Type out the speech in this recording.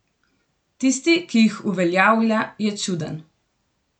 Tisti, ki jih uveljavlja, je čuden.